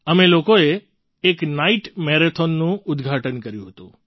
અમે લોકોએ એક નાઇટ મેરેથૉનનું ઉદ્ઘાટન કર્યું હતું